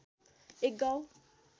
एक गाउँ